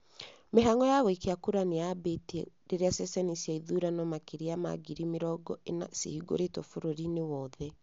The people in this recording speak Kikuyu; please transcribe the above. Mĩhang'o ya gũikia kura nĩyaambitie rĩrĩa ceceni cia ithurano makĩria ya ngiri mĩrongo ĩna cihingũritwo bũrũri-inĩ wothe.